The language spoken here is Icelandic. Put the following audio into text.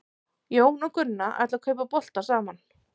Jón og Gunna ætla að kaupa bolta saman.